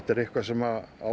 eitthvað sem á